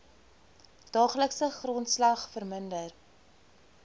daaglikse grondslag verminder